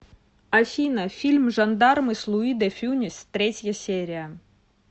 афина фильм жандармы с луи де фюнес третья серия